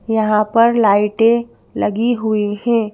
यहां पर लाइटें लगी हुई हैं।